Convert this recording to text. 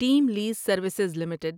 team lease services limited